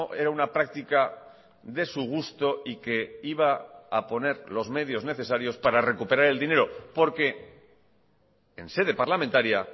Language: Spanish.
era una práctica de su gusto y que iba a poner los medios necesarios para recuperar el dinero porque en sede parlamentaria